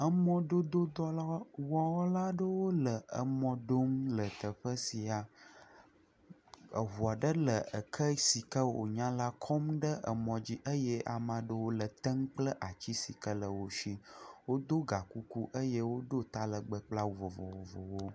Emɔdododɔlawɔla aɖewo le dɔ wɔm le teƒe sia, eŋu aɖe le eke si ke wònya la kɔm ɖe emɔ dzi eye ame aɖewo le etem kple ati si ke le wo si wodo ga kuku eye wodo ta legbe kple awu vovovowo.